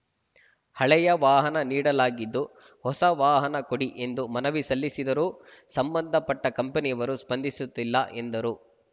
ಹಳೆಯ ವಾಹನ ನೀಡಲಾಗಿದ್ದು ಹೊಸ ವಾಹನ ಕೊಡಿ ಎಂದು ಮನವಿ ಸಲ್ಲಿಸಿದರೂ ಸಂಬಂಧಪಟ್ಟಕಂಪನಿಯವರು ಸ್ಪಂದಿಸುತ್ತಿಲ್ಲ ಎಂದರು